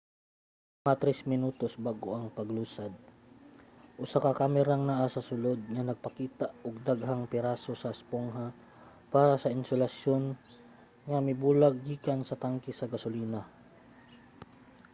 mga 3 minutos bag-o ang paglusad usa ka kamerang naa sa sulod ang nagpakita og daghang piraso sa espongha para sa insulasyon nga mibulag gikan sa tanke sa gasolina